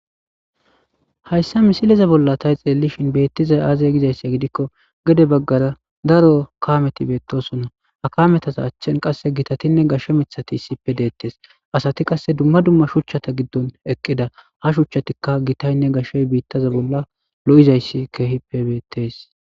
Hayssa misileze bolla tay xeelishin beettiza aazay gizayssi gidikko gede baggara daro kameti beettosona akametasa achchen qasse gitatinne gashsho mithati issippe deettes asati qasse dumma dumma shuchchata giddon eqqida ha shuchchatikka gitaynne gashey biittaza bolla lo'izayssi keehippe beettees.